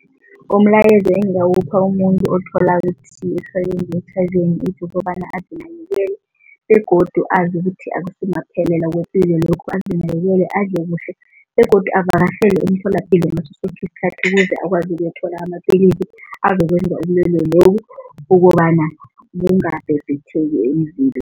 Umlayezo engingawupha umuntu othola ukuthi nge-H_I_V and AIDS ukobana azinakekele begodu azi ukuthi akusimaphelelo kwepilo lokhu. Azinakekele, adle kuhle begodu avakatjhele umtholapilo ngaso soke isikhathi ukuze akwazi ukuthola amapilisi azokwenza ubulwelwe lobu ukobana bungabhebhetheki emzimbeni.